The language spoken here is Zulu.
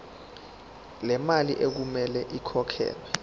lemali okumele ikhokhelwe